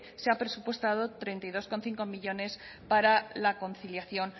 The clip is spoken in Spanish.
se ha presupuestado treinta y dos coma cinco millónes para la conciliación